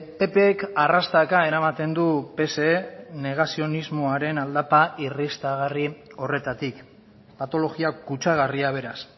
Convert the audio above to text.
ppk arrastaka eramaten du pse negazionismoaren aldapa irristagarri horretatik patologia kutsagarria beraz